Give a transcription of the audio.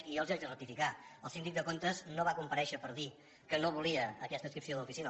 i jo els he de rectificar el síndic de comptes no va comparèixer per dir que no volia aquesta adscripció de l’oficina